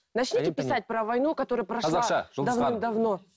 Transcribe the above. начните писать про войну который прошла